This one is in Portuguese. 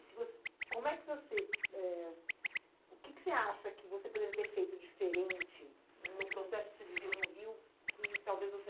Se você, como é que você, eh, o que que você acha que você poderia ter feito diferente no processo que você viveu no Rio que talvez você não fosse embora?